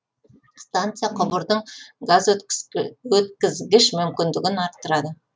станция құбырдың газ өткізгіш мүмкіндігін арттырады